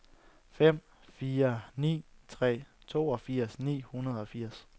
fem fire ni tre toogfirs ni hundrede og firs